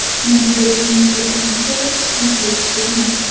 Natijada finishga birinchi bo‘lib ot yetib kelgan.